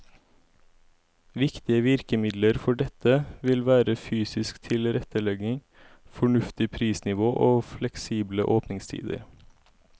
Viktige virkemidler for dette vil være fysisk tilrettelegging, fornuftig prisnivå og fleksible åpningstider.